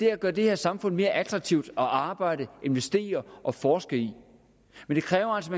er at gøre det her samfund mere attraktivt at arbejde investere og forske i men det kræver altså